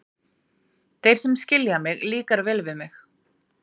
Þeir sem skilja mig, líkar vel við mig.